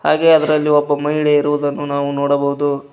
ಹಾಗೆ ಅದರಲ್ಲಿ ಒಬ್ಬ ಮಹಿಳೆ ಇರುವುದನ್ನು ನಾವು ನೋಡಬಹುದು.